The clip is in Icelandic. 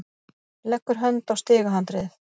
Leggur hönd á stigahandriðið.